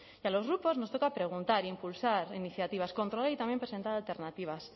y a los grupos nos toca preguntar impulsar iniciativas controlar y también presentar alternativas